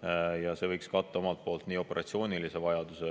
Selline võiks katta operatsioonilise vajaduse